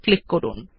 click করুন